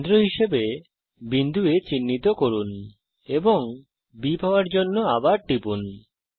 কেন্দ্র হিসাবে বিন্দু A চিহ্নিত করুন এবং B পাওযার জন্য আবার টিপুন